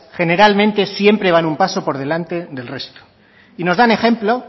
generalmente siempre van un paso por delante del resto y nos dan ejemplo